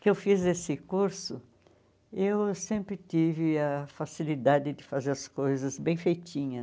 que eu fiz esse curso, eu sempre tive a facilidade de fazer as coisas bem feitinhas.